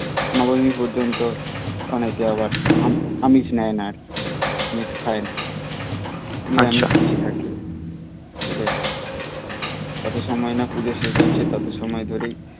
নবমী পর্যন্ত অনেকে আবার আমিষ নেই না আর কি আমিষ খায় না নিরামিষ খেয়ে থাকে ঠিক আছে যত সময় না পুজো শেষ হচ্ছে তত সময় ধরে